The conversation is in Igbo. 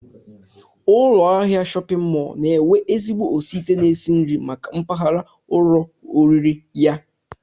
Ụlọahịa shọpịn mọl na-enwe ezigbo osiite na-esi nri maka mpaghara ụlọoriri ya